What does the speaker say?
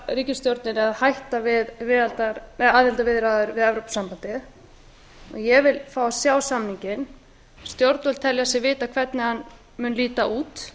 ríkisstjórninni um að hætta við aðildarviðræður við evrópusambandið ég vil fá að sjá samninginn stjórnvöld telja sig vita hvernig hann mun líta út